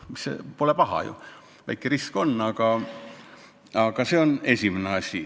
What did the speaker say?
Pole ju paha, kuigi väike risk on.